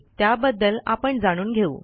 त्याबद्दल आपण जाणून घेऊ